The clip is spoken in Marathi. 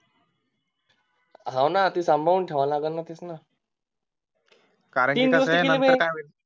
हाव ना ती सम्भाळून ठेवावी लागेल तीच ना कारण कि काय नंतर काय होईल